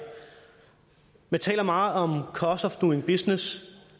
man taler meget om cost of doing business